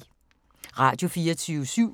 Radio24syv